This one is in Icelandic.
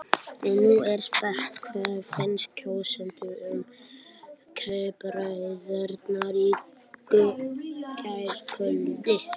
Nú er spurt, hvað fannst kjósendum um kappræðurnar í gærkvöld?